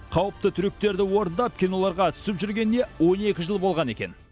қауіпті трюктерді орындап киноларға түсіп жүргеніне он екі жыл болған екен